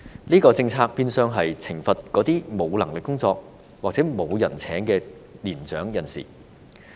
這項政策變相是懲罰那些沒有工作能力或沒有人聘請的年長人士。